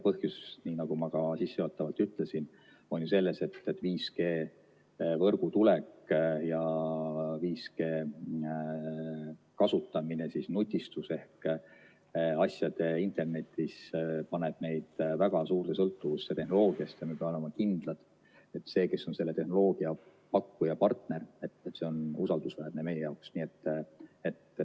Põhjus, nii nagu ma ka sissejuhatavalt ütlesin, on ju selles, et 5G-võrgu tulek ja 5G kasutamine nutistus ehk asjade internetis paneb meid väga suurde sõltuvusse tehnoloogiast ja me peame olema kindlad, et see, kes on selle tehnoloogiapakkuja partner, on usaldusväärne meie jaoks.